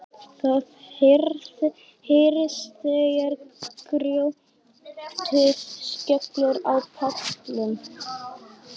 Það heyrist þegar grjótið skellur á pallinn.